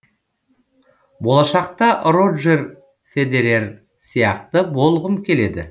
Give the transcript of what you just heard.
болашақта роджер федерер сияқты болғым келеді